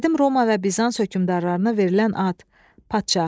Qədim Roma və Bizans hökümdarlarına verilən ad, padşah.